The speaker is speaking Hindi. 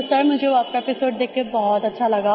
तो सर मुझे वो आपका एपिसोड देखकर बहुत अच्छा लगा